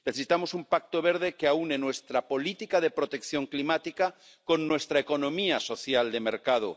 Necesitamos un pacto verde que aúne nuestra política de protección climática con nuestra economía social de mercado